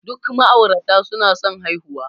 Duk ma'aurata suna son haihuwa.